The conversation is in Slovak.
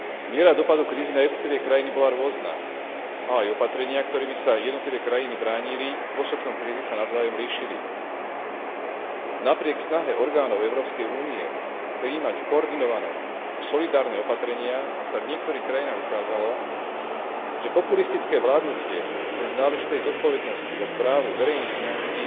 Miera vplyvu krízy na jednotlivé krajiny bola rôzna a aj opatrenia, ktorými sa jednotlivé krajiny bránili v dôsledku krízy, sa navzájom líšili. Napriek snahe orgánov Európskej únie prijímať koordinované a solidárne opatrenia sa v niektorých krajinách ukázalo, že populistické vládnutie bez náležitej zodpovednosti za správu verejných financií